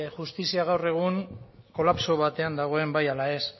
justizia gaur egun kolapso batean dagoen bai ala ez